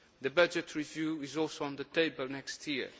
The budget review is also on the table next year.